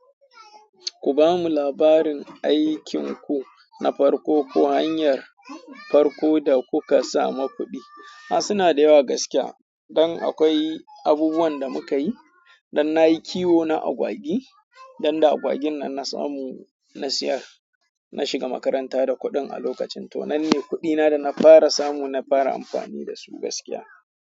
Ku ba mu labarin aikin ku na farko ko hanyar farko da kuka samu kuɗi. A suna da yawa gaskiya, dan akwai abubuwan da muka yi, dan na yi kiwo na agwagi, dan da agwagin nan na samu, na siyar, na shiga makaranta da kuɗin a lokacin. To nan ne kuɗina da na fara samu, na fara amfani da su gaskiya.